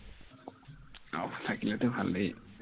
off থাকিলেতো ভালেই